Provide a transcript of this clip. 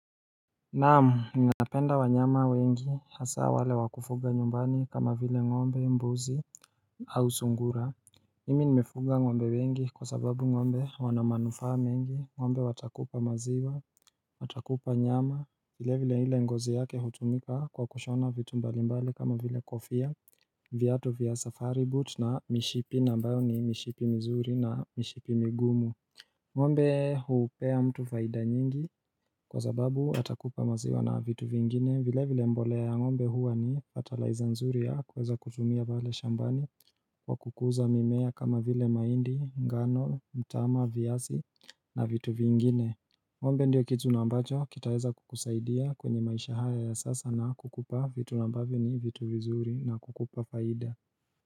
Naamu ninaapenda wanyama wengi hasa wale wakufuga nyumbani kama vile ngombe mbuzi au sungura Himi nimefuga ngombe wengi kwa sababu ngombe wanamanufa mengi ngombe watakupa maziwa Watakupa nyama hile vile hile ngozi yake hutumika kwa kushona vitu mbalimbali kama vile kofia Viatu vya safari boot na mishipi na mbayo ni mishipi mzuri na mishipi migumu ngombe huupea mtu faida nyingi kwa zababu atakupa maziwa na vitu vingine vile vile mbolea ya ngombe huwa ni fatalaiza nzuri yakuweza kutumia pale shambani Kwa kukuza mimea kama vile maindi, ngano, mtama, viasi na vitu vingine ngombe ndiyo kizuna ambacho kitaeza kukusaidia kwenye maisha haya ya sasa na kukupa vitu ambavyo ni vitu vizuri na kukupa faida.